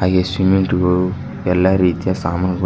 ಹಾಗೆ ಸಿಮೆಂಟ್ ಗಳು ಎಲ್ಲಾ ರೀತಿಯ ಸಾಮಾನುಗಳಿವೆ.